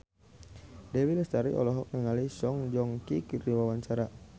Dewi Lestari olohok ningali Song Joong Ki keur diwawancara